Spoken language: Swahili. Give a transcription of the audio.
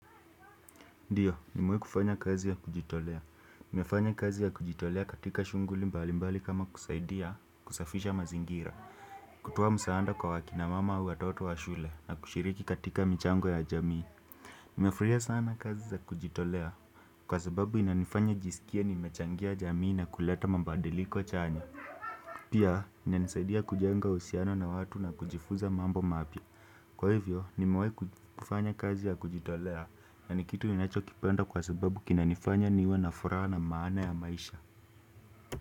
Ndiyo, nimewahi kufanya kazi ya kujitolea. Nimefanya kazi ya kujitolea katika shughuli mbali mbali kama kusaidia kusafisha mazingira. Kutoa msaanda kwa akina mama au watoto wa shule na kushiriki katika michango ya jamii. Nafurahia sana kazi za kujitolea. Kwa sababu inanifanya nijiskie nimechangia jamii na kuleta mabadiliko chanya. Pia inanisaidia kujenga uhusiano na watu na kujifuza mambo mapya. Kwa hivyo nimewahi kufanya kazi ya kujitolea na ni kitu ninachokipenda kwa sababu kinanifanya niwe na furaha na maana ya maisha.